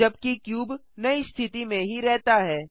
जबकि क्यूब नई स्थिति में ही रहता है